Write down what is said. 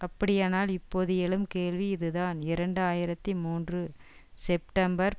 அப்படியானால் இப்பொழுது எழும் கேள்வி இதுதான் இரண்டு ஆயிரத்தி மூன்று செப்டம்பர்